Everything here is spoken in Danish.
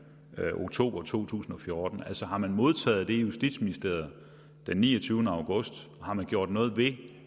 oktober 2014 altså har man modtaget det i justitsministeriet den niogtyvende august har man gjort noget ved